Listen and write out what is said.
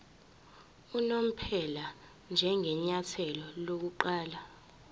unomphela njengenyathelo lokuqala